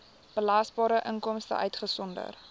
belasbare inkomste uitgesonderd